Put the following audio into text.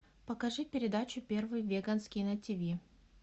покажи передачу первый веганский на тиви